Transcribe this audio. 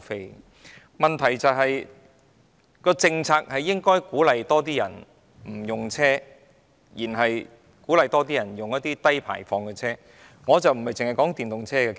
不過，問題是，政策應鼓勵更多市民使用低排放車輛甚或不使用車輛。